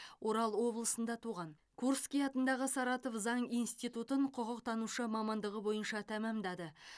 орал облысында туған курский атындағы саратов заң институтын құқықтанушы мамандығы бойынша тәмамдады